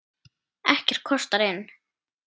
Ekkert kostar inn.